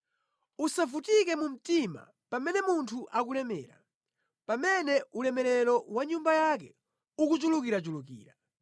Usavutike mu mtima pamene munthu akulemera, pamene ulemerero wa nyumba yake ukuchulukirachulukira;